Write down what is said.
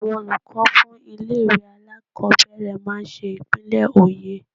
Àwọn olùkọ́ fún ilé-ìwé alákobẹ̀rẹ̀ máa n ṣe ìpínlẹ̀ oyè